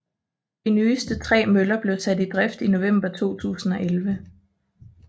De nyeste tre møller blev sat i drift i november 2011